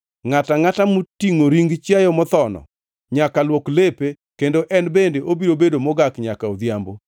Ngʼata angʼata motingʼo ring chiayo mothono nyaka luok lepe, kendo en bende obiro bedo mogak nyaka odhiambo.